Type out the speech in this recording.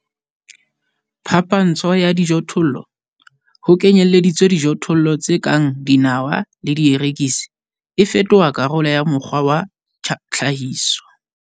Phapantsho ya dijothollo, ho kenyelleditswe dijothollo tse kang dinawa le dierekisi, e fetoha karolo ya mokgwa wa tlhahiso.